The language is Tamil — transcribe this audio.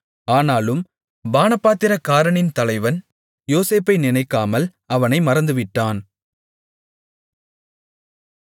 ஆனாலும் பானபாத்திரக்காரனின் தலைவன் யோசேப்பை நினைக்காமல் அவனை மறந்துவிட்டான்